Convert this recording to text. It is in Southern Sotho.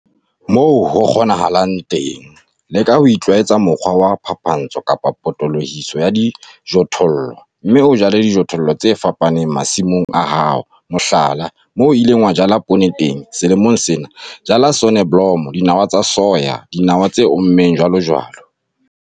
Moo ho kgonahalang teng, leka ho itlwaetsa mokgwa wa phapantsho kapa potolohiso ya dijothollo, mme o jale dijothollo tse fapaneng masimong a hao - mohlala, moo o ileng wa jala poone teng selemong sena, jala soneblomo, dinawa tsa soya, dinawa tse ommeng, jwalojwalo.